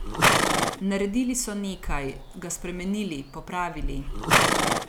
Naredili so nekaj, ga spremenili, popravili.